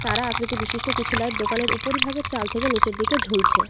তারা আকৃতি বিশিষ্ট কিছু লাইট দোকানের উপরি ভাগের চাল থেকে নীচের দিকে ঝুলছে।